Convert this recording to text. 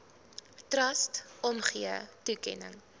trust omgee toekenning